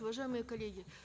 уважаемые коллеги